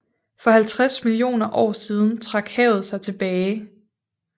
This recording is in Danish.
For 50 millioner år siden trak havet sig tilbage